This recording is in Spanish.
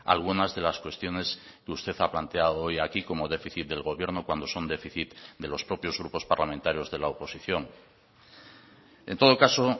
algunas de las cuestiones que usted ha planteado hoy aquí como déficit del gobierno cuando son déficit de los propios grupos parlamentarios de la oposición en todo caso